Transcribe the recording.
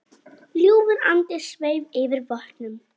Ljúfur andi sveif yfir vötnum.